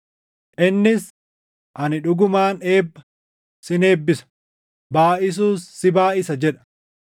Innis, “Ani dhugumaan eebba, sin eebbisa; baayʼisuus si baayʼisa” + 6:14 \+xt Uma 22:17\+xt* jedha.